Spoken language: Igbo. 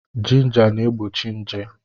Jinja na-egbochi nje.